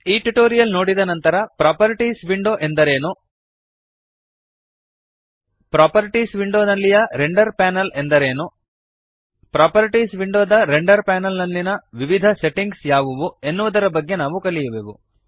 ಈ ಟ್ಯುಟೋರಿಯಲ್ ನೋಡಿದ ನಂತರ ಪ್ರಾಪರ್ಟೀಸ್ ವಿಂಡೋ ಎಂದರೇನು ಪ್ರಾಪರ್ಟೀಸ್ ವಿಂಡೋನಲ್ಲಿಯ ರೆಂಡರ್ ಪ್ಯಾನಲ್ ಎಂದರೇನು ಪ್ರಾಪರ್ಟೀಸ್ ವಿಂಡೋದ ರೆಂಡರ್ ಪ್ಯಾನಲ್ ನಲ್ಲಿಯ ವಿವಿಧ ಸೆಟ್ಟಿಂಗ್ಸ್ ಯಾವುವು ಎನ್ನುವುದರ ಬಗೆಗೆ ನಾವು ಕಲಿಯುವೆವು